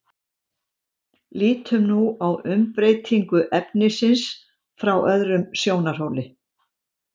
lítum nú á umbreytingu efnisins frá öðrum sjónarhóli